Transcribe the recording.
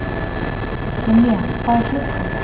Ynja, hvað er klukkan?